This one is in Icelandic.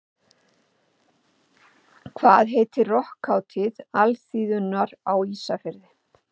Hvað heitir rokkhátíð alþýðunnar á Ísafirði?